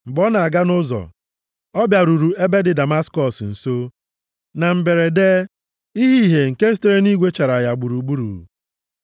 Mgbe ọ na-aga nʼụzọ, ọ bịaruru ebe dị Damaskọs nso. Na mberede, ihe ìhè nke sitere nʼeluigwe chara ya gburugburu.